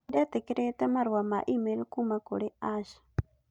Nĩ ndetĩkĩrĩte marũa ma e-mail kuuma kũrĩ Ash